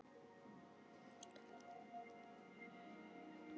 Skriðan féll í rykmekki og skóf stöðugt meira af hlíðinni á niðurleiðinni.